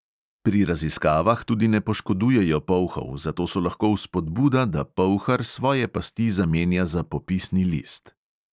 Pri raziskavah tudi ne poškodujejo polhov, zato so lahko vzpodbuda, da polhar svoje pasti zamenja za popisni list.